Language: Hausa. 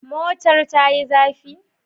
Motar ta yi zafi?